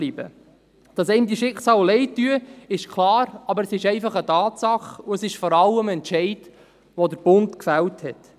Dass einen diese Schicksale leidtun, ist klar, aber es ist einfach eine Tatsache, und es ist vor allem ein Entscheid, den der Bund gefällt hat.